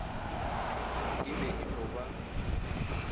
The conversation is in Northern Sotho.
e be e no ba